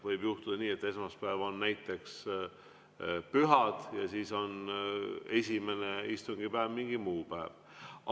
Võib juhtuda nii, et esmaspäev on näiteks mingi püha, ja siis on esimene istungipäev mingi muu päev.